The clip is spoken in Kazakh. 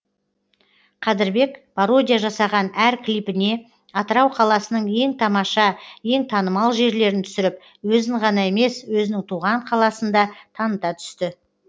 қадірбек пародия жасаған әр клипіне атырау қаласының ең тамаша ең танымал жерлерін түсіріп өзін ғана емес өзінің туған қаласында таныта түсті